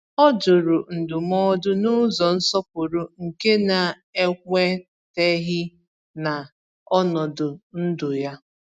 O jụrụ ndụmọdụ n’ụzọ nsọpụrụ nke na-ekweteghi na ọnọdụ ndụ ya.